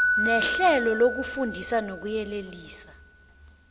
nehlelo lokufundisa nokuyelelisa